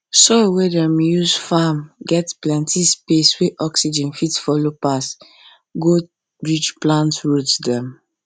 soil wey dem dey use farm get plenty space wey oxygen fit follow pass go reach plant roots dem